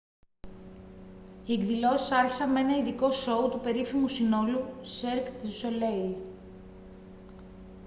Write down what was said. οι εκδηλώσεις άρχισαν με ένα ειδικό σόου του περίφημου συνόλου cirque du soleil